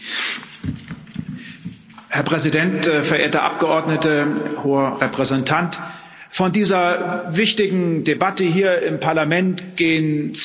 Herr Präsident, verehrte Abgeordnete, Hoher Vertreter! Von dieser wichtigen Debatte hier im Parlament gehen zwei Botschaften aus.